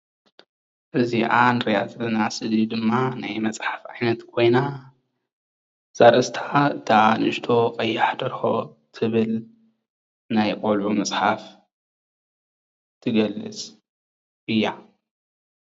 እዚ እንሪኦ ዘለና ስእሊ ድማ ናይ መፅሓፍ ዓይነት ኮይና እዛ ኣርእስታ ከዓ እታ ንእቶ ቀያሕ ደርሆ ትብል ናይ ቆልዑ መፅሓፍ ትገልፅ እያ፡፡